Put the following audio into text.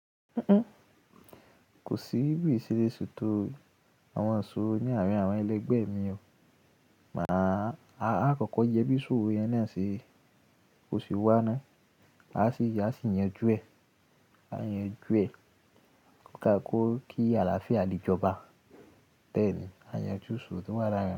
Kò sí bi n setó àwọn isoro ní àárín àwọn ẹlẹgbẹ́ mi o, mà á kọ́kọ́ yẹ bí isoro yẹn naa ṣe, bó se wá ná, a sì yanjú ẹ̀, ká kú kí àlàáfíà le jọba. Bẹ́ẹ̀ ni, a yanjú isoro to wa laarin.